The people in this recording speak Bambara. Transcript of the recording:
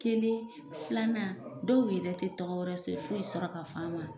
Kelen filanan dɔw yɛrɛ tɛ tɔgɔ wɛrɛ si foyi sɔrɔ ka f'an ma.